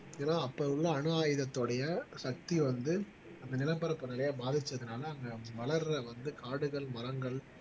ஏன்னா அப்ப உள்ள அணு ஆயுதத்துடைய சக்தி வந்து அந்த நிலப்பரப்பு நிலையை பாதிச்சதுனால அங்க வளர்ற வந்து காடுகள் மரங்கள்